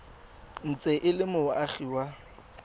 ntse e le moagi wa